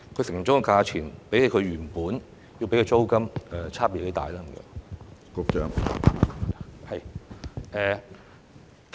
承租的價錢比他們原本支付的租金差別有多大呢？